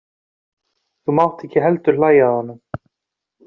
Þú mátt ekki heldur hlæja að honum.